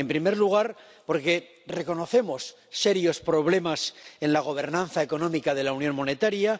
En primer lugar, porque reconocemos serios problemas en la gobernanza económica de la unión monetaria